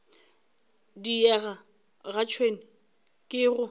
diega ga tšhwene ke go